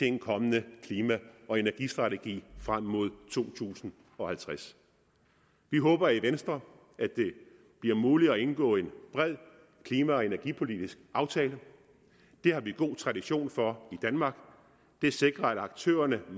en kommende klima og energistrategi frem mod år to tusind og halvtreds vi håber i venstre at det bliver muligt at indgå en bred klima og energipolitisk aftale det har vi god tradition for i danmark det sikrer at aktørerne